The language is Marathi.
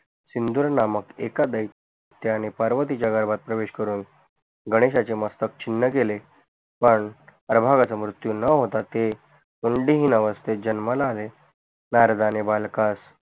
सिंदूर नामक एका दैत्याने पार्वतीच्या गरभात प्रवेश करून गणेशाचे मस्तक छिन्न केले पन मृत्यु न होता ते कुंडलीहून अवस्तेत जन्माला आले नारदाणे बालकास